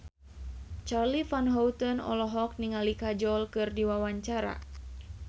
Charly Van Houten olohok ningali Kajol keur diwawancara